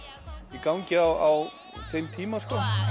í gangi á þeim tíma